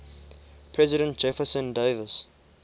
president jefferson davis